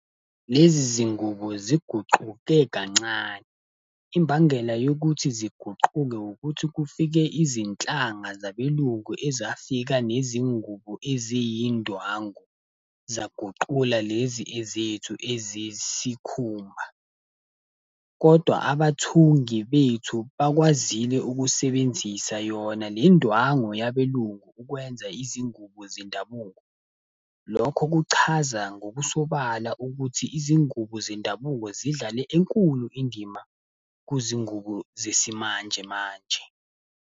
Lezi zingubo ziguquke kancane. Imbangela yokuthi ziguquke ukuthi kufike izinhlanga zabelungu ezafika nezingubo eziyindwangu, zaguqula lezi ezethu eziyi sikhumba. Kodwa abathungi bethu bakwazile ukusebenzisa yona lendwangu yabelungu ukwenza izingubo zendabuko. Lokho kuchaza ngokusobala ukuthi izingubo zendabuko zidlale enkulu indima kuzingubo zesimanjemanje.